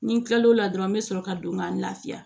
Ni n kila l'o la dɔrɔn n be sɔrɔ ka don ka n lafiya